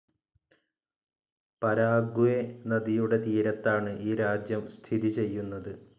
Paraguay നദിയുടെ തീരത്താണ് ഈ രാജ്യം സ്ഥിതി ചെയ്യുന്നത്.